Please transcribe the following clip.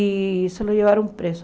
E só o levaram preso.